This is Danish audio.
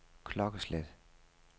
klokkeslæt